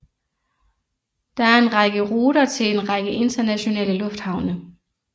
Der er en række ruter til en række internationale lufthavne